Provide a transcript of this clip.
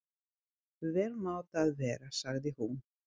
Vel má það vera, sagði hún.